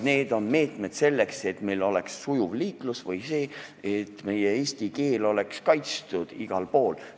Need on meetmed selleks, et meil oleks sujuv liiklus või et eesti keel oleks igal pool kaitstud.